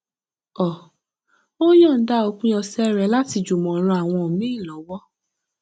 um ó yọnda òpin ọsẹ rẹ láti jùmọ ran àwọn míì lọwọ